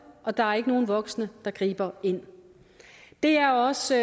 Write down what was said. og der er ikke nogen voksne der griber ind det er også